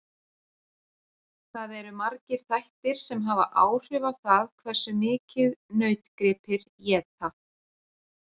Það eru margir þættir sem hafa áhrif á það hversu mikið nautgripir éta.